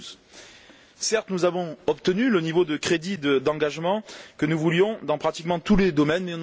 2012. Certes, nous avons obtenu le niveau de crédits d'engagement que nous voulions dans pratiquement tous les domaines